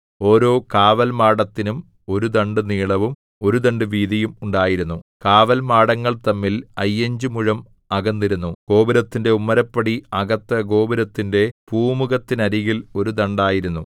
ഓരോ കാവൽമാടത്തിനും ഒരു ദണ്ഡു നീളവും ഒരു ദണ്ഡു വീതിയും ഉണ്ടായിരുന്നു കാവൽമാടങ്ങൾ തമ്മിൽ അയ്യഞ്ചു മുഴം അകന്നിരുന്നു ഗോപുരത്തിന്റെ ഉമ്മരപ്പടി അകത്ത് ഗോപുരത്തിന്റെ പൂമുഖത്തിനരികിൽ ഒരു ദണ്ഡായിരുന്നു